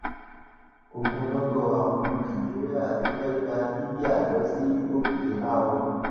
ogunlọgọ àwọn ọmọ nàìjíríà tó fẹẹ gba libya lọ sí europe ti há o